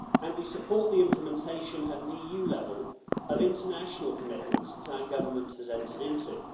we support the implementation at EU level of international commitments that our government has entered into.